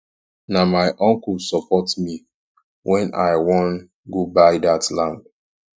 na my uncle support me wen i wan go buy dat land